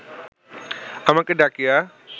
আমাকে ডাকিয়া